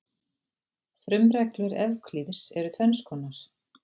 Frumreglur Evklíðs eru tvenns konar.